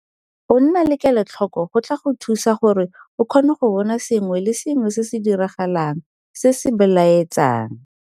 Go nna kelotlhoko go tla go thusa gore o kgone go bona sengwe le sengwe se se diragalang se se belae tsang.